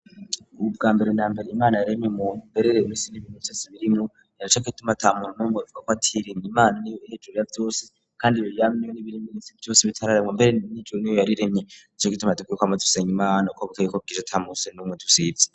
Ubu bwa mbere na mbere imana yaremye mu berere rusini bimutasibirinu yarachaka ituma tamuntu numwe ivuga ko atirin imana ni hedroract wose kandi reliam n n'ibire minisitire byose bitararemwa mbere nijo nyo yariremye ijok ituma dukiye ko amatuseny imana ko bukayi kopwija tamuse n'umwe dusize.